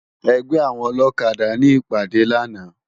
Ègbè áwòn ólókàdá ni ipàdé làná